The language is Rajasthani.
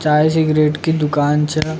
चाय सिगरेट की दूकान छ।